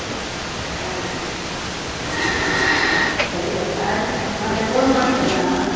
ಹಾಗೆ, ಸರಿ ಆಯ್ತು ಮತ್ತೆ phone ಮಾಡ್ತೆನೆ ನಾನು.